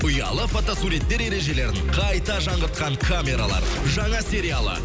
ұялы фотосуреттер ережелерін қайта жаңғыртқан камералар жаңа сериалы